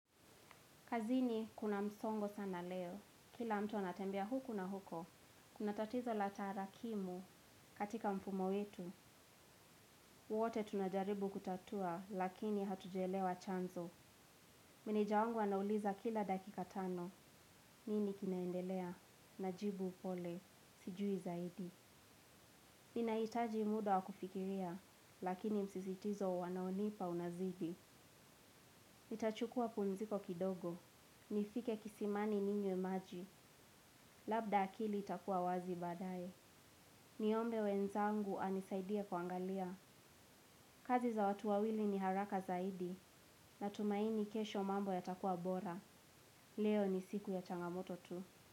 Kazini kuna msongo sana leo, kila mtu anatembea huku na huko, kuna tatizo la tara kimu katika mfumo wetu, wote tunajaribu kutatua lakini hatujaelewa chanzo. Meneja wangu anauliza kila dakika tano, nini kinaendelea, najibu pole, sijui zaidi. Nina itaji muda wa kufikiria, lakini msizitizo wanaonipa unazidi. Nitachukua pumziko kidogo. Nifike kisimani ninywe maji. Labda akili itakua wazi baadaye. Niombe wenzangu anisaidie kuangalia. Kazi za watu wawili ni haraka zaidi. Natumaini kesho mambo yatakua bora. Leo ni siku ya changamoto tu.